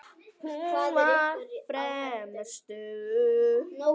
Hún var fremur stutt.